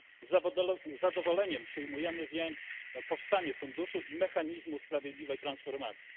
Z zadowoleniem przyjmujemy więc powstanie funduszu i mechanizmu sprawiedliwej transformacji.